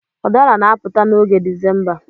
Udara na-apụta n'oge Disemba.